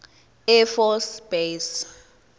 air force base